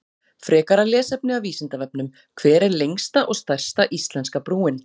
Frekara lesefni af Vísindavefnum: Hver er lengsta og stærsta íslenska brúin?